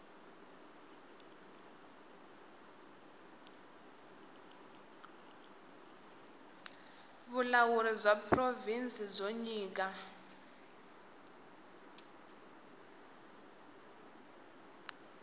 vulawuri bya provhinsi byo nyika